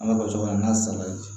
An ka basi kɔnɔ n'a salati